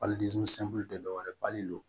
dɔ wɛrɛ don